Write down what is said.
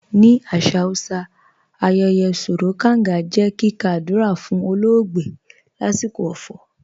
Ni asà Hausà, àyẹyẹ̀ "Sòró Gàngà" jẹ́ kíkà àdúrà fun ọ̀lọ̀ọgbẹ̀ lasikọ ọ̀fọ̀.